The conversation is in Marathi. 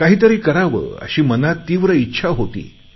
काहीतरी करावे अशी मनात तीव्र इच्छा होती